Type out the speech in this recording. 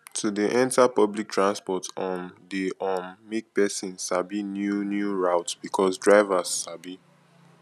to de enter public transports um de um make persin sabi new new route because drivers sabi